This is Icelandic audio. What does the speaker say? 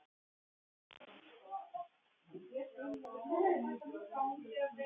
Hvernig voru þeir festir á orfin?